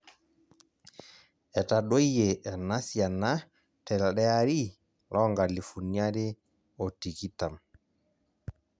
Etadoyie ena siana telde ari loonkalifuni are otikitam.